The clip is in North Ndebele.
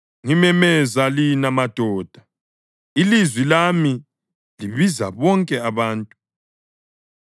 “Ngimemeza lina, madoda; ilizwi lami libiza bonke abantu.